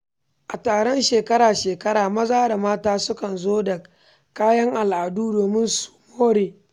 A taron shekara-shekara, maza da mata sukan zo da kayan al’adu domin su more.